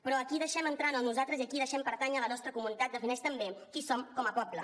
però a qui deixem entrar en el nosaltres i a qui deixem pertànyer a la nostra comunitat defineix també qui som com a poble